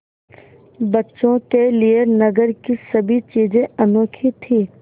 बच्चों के लिए नगर की सभी चीज़ें अनोखी थीं